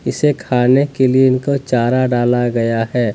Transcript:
इसे खाने के लिए इनको चारा डाला गया है।